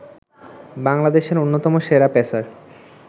বাংলাদেশের অন্যতম সেরা পেসার